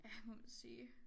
Ja må man sige